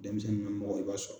Denmisɛnnin namɔgɔ i b'a sɔrɔ